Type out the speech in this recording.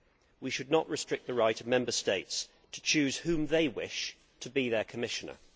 We should not restrict the right of Member States to choose whom they wish to be their Commissioner.